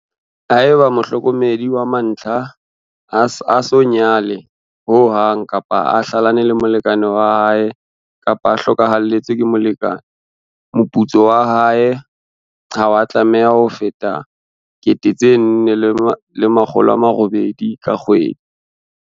Haeba mohlokomedi wa mantlha a sa nyala-nyalwa, a so nyale-nyalwe ho hang, kapa a hlalane le molekane wa hae kapa a hlokahalletswe ke molekane, moputso wa hae ha wa tlameha ho feta R4 800 ka kgwedi.